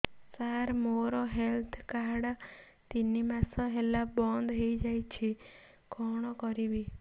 ସାର ମୋର health card ତିନି ମାସ ହେଲା ବନ୍ଦ ହେଇଯାଇଛି କଣ କରିବି